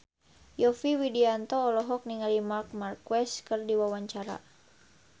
Yovie Widianto olohok ningali Marc Marquez keur diwawancara